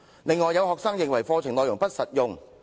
"此外，也有學生認為課程內容不實用。